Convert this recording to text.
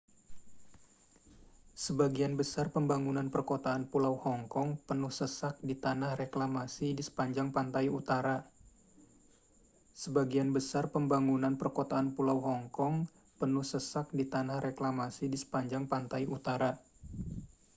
sebagian besar pembangunan perkotaan pulau hong kong penuh sesak di tanah reklamasi di sepanjang pantai utara